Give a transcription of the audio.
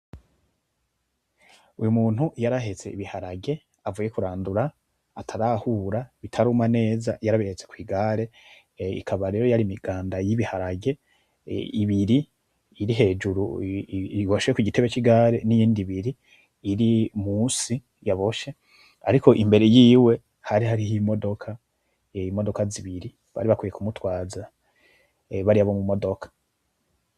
Uyumuntu yarahetse ibiharage avuye kurandura atarahura bitaruma neza yarabihetse kwigare. Ikaba rero yarimiganda y'ibiharage ibiri iri hejuru iboshe kugitebe c'igare, niyindi ibiri irimusi yaboshe ariko imbere yiwe hari hariho imodoka zibiri bari bakwiye kumutwaza bariya bo mumodoka.